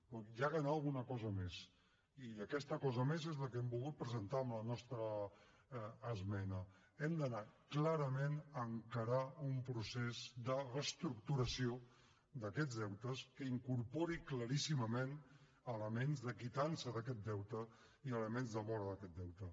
però s’ha d’anar a alguna cosa més i aquesta cosa més és la que hem volgut presentar amb la nostra esmena hem d’anar clarament a encarar un procés de reestructuració d’aquests deutes que incorpori claríssimament elements de quitança d’aquest deute i elements de mora d’aquest deute